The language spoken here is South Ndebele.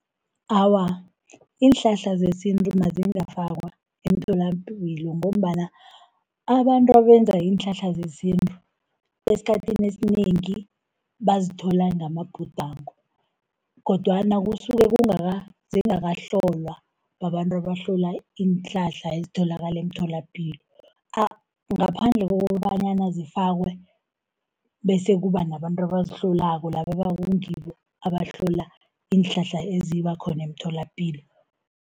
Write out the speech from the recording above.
Awa, iinhlahla zesintu azingafakwa emtholapilo, ngombana abantu abenza iinhlahla zesintu, esikhathini esinengi bazithola ngamabhudango, kodwana kusuke zingakahlolwa babantu abahlola iinhlahla ezitholakala emtholapilo. Ngaphandle kokobanyana zifakwe bese kuba nabantu abazihlolako, laba okungibo abahlola iinhlahla ezibakhona emtholapilo.